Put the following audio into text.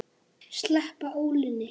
Sleppa ólinni.